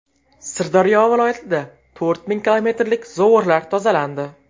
Sirdaryo viloyatida to‘rt ming kilometrlik zovurlar tozalandi.